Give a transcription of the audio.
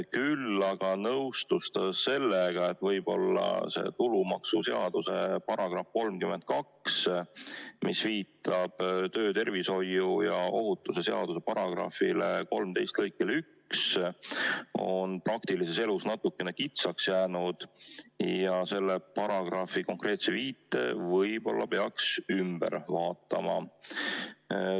Küll aga nõustus ta sellega, et võib-olla tulumaksuseaduse § 32, mis viitab töötervishoiu ja tööohutuse seaduse § 13 lõikele 1, on praktilises elus natukene kitsaks jäänud ja selle paragrahvi konkreetse viite peaks tulevikus võib-olla üle vaatama.